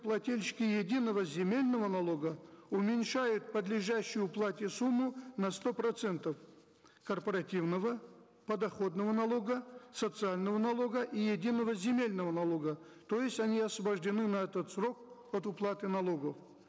плательщики единого земельного налога уменьшают подлежащую уплате сумму на сто процентов корпоративного подоходного налога социального налога и единого земельного налога то есть они освобождены на этот срок от уплаты налогов